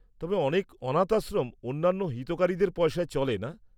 -তবে অনেক অনাথ আশ্রম অন্যান্য হিতকারীদের পয়সায় চলে না?